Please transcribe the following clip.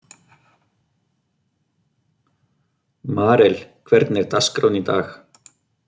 Marel, hvernig er dagskráin í dag?